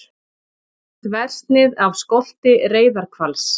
Þversnið af skolti reyðarhvals.